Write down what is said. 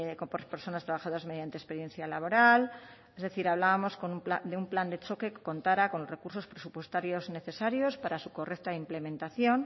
por personas trabajadoras mediante experiencia laboral es decir hablábamos de un plan de choque que contara con los recursos presupuestarios necesarios para su correcta implementación